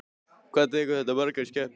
Hvað tekur þetta mörg, margar skepnur?